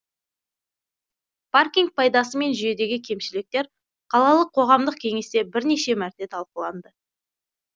паркинг пайдасы мен жүйедегі кемшіліктер қалалық қоғамдық кеңесте бірнеше мәрте талқыланды